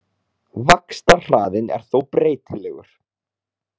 Vaxtarhraðinn er þó breytilegur.